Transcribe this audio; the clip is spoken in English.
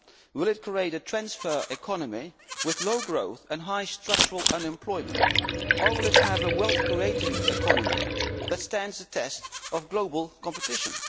Will it create a transfer economy, with low growth and high structural unemployment, or will it have a wealth creating economy that stands the test of global competition?